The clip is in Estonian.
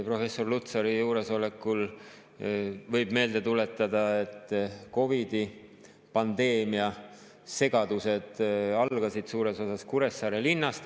Professor Lutsari juuresolekul võib meelde tuletada, et COVID-i pandeemia segadused algasid suures osas Kuressaare linnast.